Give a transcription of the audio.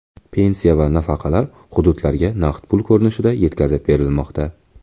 Pensiya va nafaqalar hududlarga naqd pul ko‘rinishida yetkazib berilmoqda.